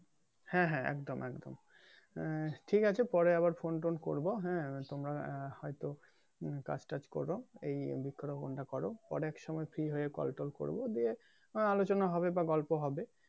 হ্যাঁ হ্যাঁ একদম একদম আহ ঠিক আছে পরে আবার phone tone করবো হ্যাঁ তোমরা আহ হয়তো হম কাজ টাজ করবা বৃক্ষ রোপনটা করো পরে এক সময় ফ্রি হয়ে কল টল করবো দিয়ে আলোচনা হবে বা গল্প হবে